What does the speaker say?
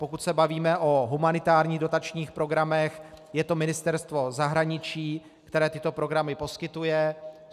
Pokud se bavíme o humanitárních dotačních programech, je to Ministerstvo zahraničí, které tyto programy poskytuje.